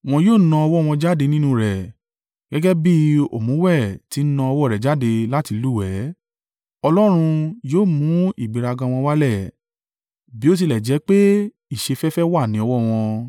Wọn yóò na ọwọ́ wọn jáde nínú rẹ̀, gẹ́gẹ́ bí òmùwẹ̀ tí ń na ọwọ́ rẹ̀ jáde láti lúwẹ̀ẹ́. Ọlọ́run yóò mú ìgbéraga wọn wálẹ̀ bó tilẹ̀ jẹ́ pé ìṣeféfé wà ní ọwọ́ wọn.